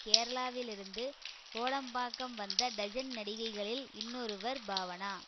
கேரளாவிலிருந்து கோடம்பாக்கம் வந்த டஜன் நடிகைகளில் இன்னொருவர் பாவனா